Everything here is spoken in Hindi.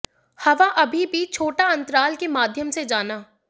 हवा अभी भी छोटा अंतराल के माध्यम से जाना